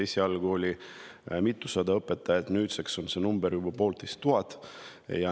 Esialgu oli mitusada õpetajat, nüüd on neid juba poolteist tuhat.